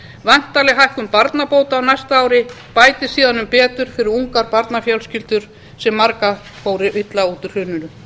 væntanleg hækkun barnabóta á næsta ári bætir síðan um betur fyrir ungar barnafjölskyldur sem margar fóru illa út úr hruninu